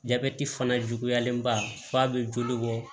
Jabɛti fana juguyalen ba f'a bɛ joli bɔ